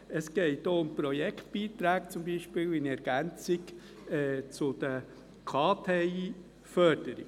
Es geht auch um Projektbeiträge zum Beispiel in Ergänzung zu den KTI-Förderungen.